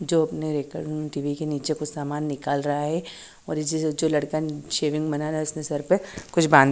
जो अपने टि_वी के निचे कुछ सामन निकाल रहा है और सेविंग बनारा है उसने सर पे कुछ बान--